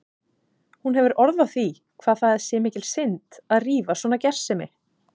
Hún hefur orð á því hvað það sé mikil synd að rífa svona gersemi.